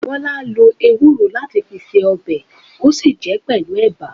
Bola lo ewúro láti fi ṣe ọbẹ̀, ó sì jẹ pẹlu ẹ̀bà